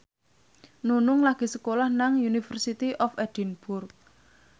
Nunung lagi sekolah nang University of Edinburgh